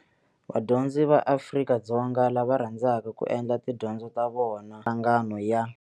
Vadyondzi va Afrika-Dzonga lava rhandzaka ku endla tidyondzo ta vona eka mihlangano ya